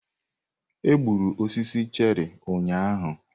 Egburu osisi cherị ụnyaahụ.